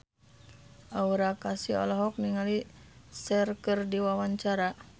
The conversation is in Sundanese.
Aura Kasih olohok ningali Cher keur diwawancara